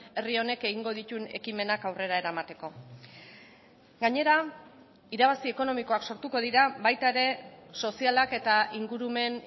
herri honek egingo dituen ekimenak aurrera eramateko gainera irabazi ekonomikoak sortuko dira baita ere sozialak eta ingurumen